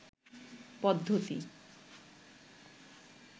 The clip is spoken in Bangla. পদ্ধতি